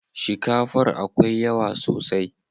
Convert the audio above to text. Shikafar akwai yawa sosai.